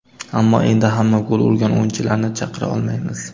Ammo endi hamma gol urgan o‘yinchilarni chaqira olmaymiz.